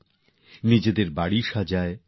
ঘর সাজান